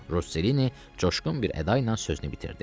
Roselini coşğun bir əda ilə sözünü bitirdi.